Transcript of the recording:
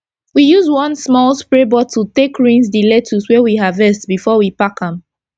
we use one small spray bottle take rinse d lecttuce wey we harvest before we pack am